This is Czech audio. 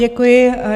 Děkuji.